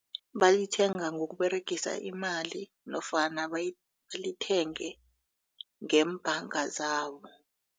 Balithenga ngokuberegisa imali nofana balithenge ngeembhanga zabo.